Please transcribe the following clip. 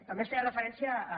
també es feia referència a